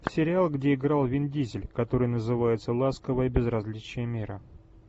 сериал где играл вин дизель который называется ласковое безразличие мира